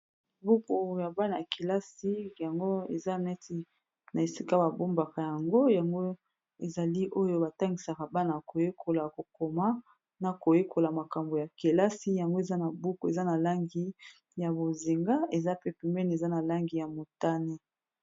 Buku ya bana-kelasi yango eza neti na esika ba bombaka yango, yango ezali oyo batangisaka bana koyekola ko koma na koyekola makambo ya kelasi yango eza na buku eza na langi ya bozinga eza pe pembeni eza na langi ya motane.